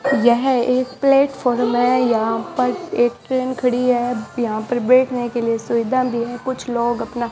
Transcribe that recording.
यह एक प्लेटफार्म है यहां पर एक ट्रेन खड़ी है यहां पर बैठने के लिए सुविधा भी है कुछ लोग अपना --